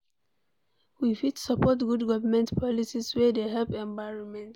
We fit support good government policies wey dey help environment